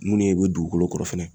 Munnu ye bɛ dugukolo kɔrɔ fɛnɛ